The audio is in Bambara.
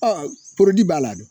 b'a la dɛ.